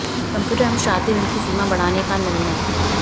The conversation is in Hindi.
कंप्यूटर एवं शादी ऋण की सीमा बढ़ाने का निर्णय